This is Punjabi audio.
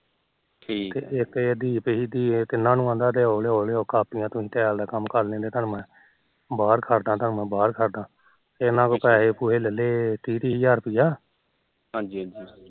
ਤੇ ਇੱਕ ਦੀਪ ਉਹਨੂੰ ਨੂੰ ਕਹਿੰਦਾ ਤੂੰਸੀ ਲਿਆਓ ਲਿਆਓ ਕਾਪੀਆਂ ਤੂਸੀ tall ਦਾ ਕੰਮ ਕਰ ਲੈਂਦੇ ਤਾਨੂੰ ਮੈ ਬਾਹਰ ਕਰਦਾ ਬਾਹਰ ਕਰਦਾ ਤੇ ਇਹਨਾ ਤੋ ਪੈਹੇ ਪੁਹੇ ਲੈਲੇ ਤੀਹ ਤੀਹ ਹਜਾਰ ਰੁਪਈਆਂ ਹਾਜੀ ਹਾਜੀ